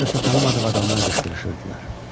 Hardasa tanımadığı adamlar qışqırışırdılar.